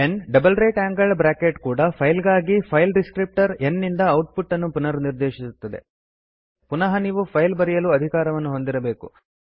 n double right angled bracket ಕೂಡ file ಗಾಗಿ file descriptor n ಇಂದ ಔಟ್ ಪುಟ್ ಅನ್ನು ಪುನರ್ನಿರ್ದೇಶಿಸುತ್ತದೆ ಪುನಃ ನೀವು ಫೈಲ್ ಬರೆಯಲು ಅಧಿಕಾರವನ್ನು ಹೊಂದಿರಬೇಕು